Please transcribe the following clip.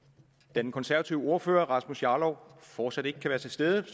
den konservative ordfører herre rasmus jarlov fortsat ikke kan være til stede